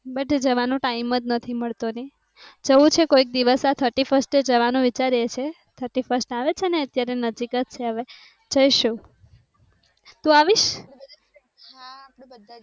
but જવાનો time જ નથી મળ તો ને જવું છે. કોઈક દિવસ આ thirty first જવા નું વિચારે છે. thirty first આવે છે ને અત્યારે નજીક જ છે, હવે જઈશું તું આવીશ?